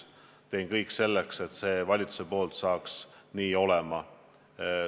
Teen kõik selleks, et see valitsuse poolt saaks ka nii olema.